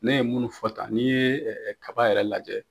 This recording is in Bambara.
Ne ye minnu fɔ tan n'i ye kaba yɛrɛ lajɛ